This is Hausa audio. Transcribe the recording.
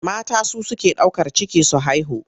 Mata su suke ɗaukar ciki su haihu.